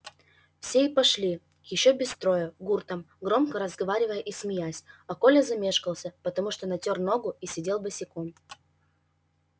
все и пошли ещё без строя гуртом громко разговаривая и смеясь а коля замешкался потому что натёр ногу и сидел босиком